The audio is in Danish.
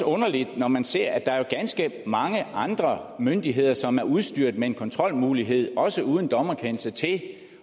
underligt når man ser at der også er ganske mange andre myndigheder som er udstyret med en kontrolmulighed også uden dommerkendelse til at